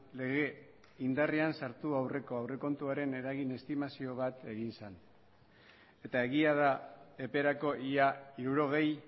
lege indarrean sartu aurreko aurrekontuaren eragin estimazio bat egin zen eta egia da eperako ia hirurogei